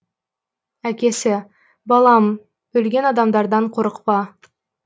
әкесі балам өлген адамдардан қорықпа